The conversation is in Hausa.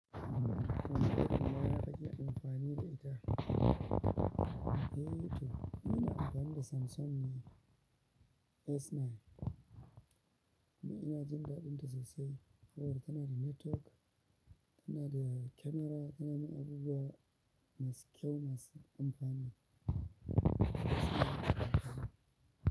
Suna da mafi akabi amfani da ita. Eh to ni ina amfani da Samsung ne S9 dan inajin daɗinta sosai saboda tanada network tana camera tanamin abubuwa masu kyau masu amfani.